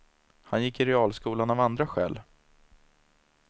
Han gick i realskolan av andra skäl.